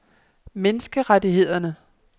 menneskerettighederne